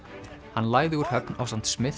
hann lagði úr höfn ásamt